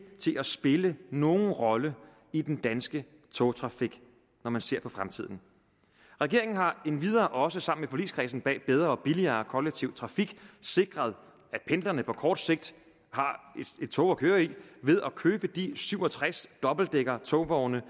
til at spille nogen rolle i den danske togtrafik når man ser på fremtiden regeringen har endvidere også sammen med forligskredsen bag bedre og billigere kollektiv trafik sikret at pendlerne på kort sigt har et tog at køre i ved at købe de syv og tres dobbeltdækkertogvogne